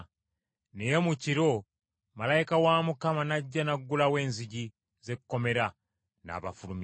Naye mu kiro, malayika wa Mukama n’ajja n’aggulawo enzigi z’ekkomera n’abafulumya,